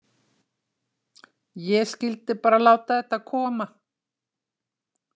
Ég skyldi bara láta þetta koma.